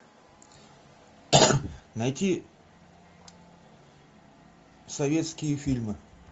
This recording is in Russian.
найти советские фильмы